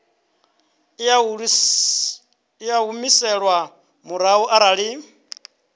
i a humiselwa murahu arali